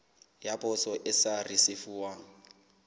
ya poso e sa risefuwang